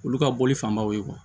Olu ka bɔli fanbaw ye